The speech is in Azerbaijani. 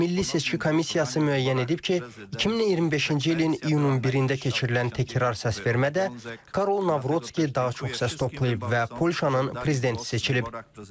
Milli seçki komissiyası müəyyən edib ki, 2025-ci ilin iyunun 1-də keçirilən təkrar səsvermədə Karol Navrutski daha çox səs toplayıb və Polşanın prezidenti seçilib.